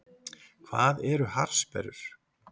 Hvað eru harðsperrur?